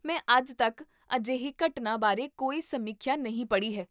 ਮੈਂ ਅੱਜ ਤੱਕ ਅਜਿਹੀ ਘਟਨਾ ਬਾਰੇ ਕੋਈ ਸਮੀਖਿਆ ਨਹੀਂ ਪੜ੍ਹੀ ਹੈ